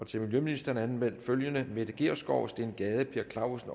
til miljøministeren er anmeldt følgende mette gjerskov steen gade per clausen